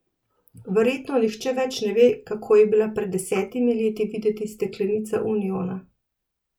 Verjetno nihče več ne ve, kako je bila pred desetimi leti videti steklenica uniona.